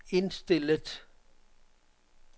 indstillet